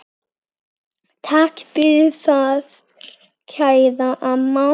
Takk fyrir það, kæra amma.